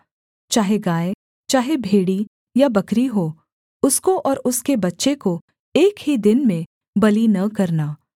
चाहे गाय चाहे भेड़ी या बकरी हो उसको और उसके बच्चे को एक ही दिन में बलि न करना